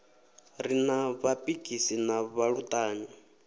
ri na vhapikisi na vhaluṱanyi